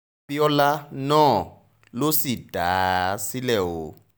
àbíọlá náà ló sì dá a sílẹ̀ o